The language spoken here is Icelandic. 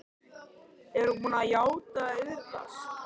Er hún búin að játa og iðrast?